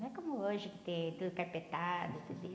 Não é como hoje que tem tudo carpetado, tudo